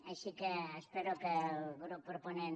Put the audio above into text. així que espero que el grup proponent